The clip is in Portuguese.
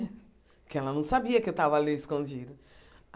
Porque ela não sabia que eu estava ali escondida.